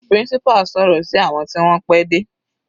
Principal sọ̀rọ̀ sí àwọn tí wọ́n pẹ́ dé.